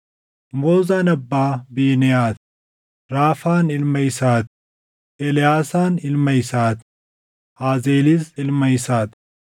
Moozaan abbaa Biineʼaa ti; Raafaan ilma isaa ti; Eleʼaasaan ilma isaa ti; Aazeelis ilma isaa ti.